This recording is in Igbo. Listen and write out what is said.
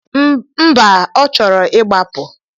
Mba, ọ chọrọ ịgbapụ.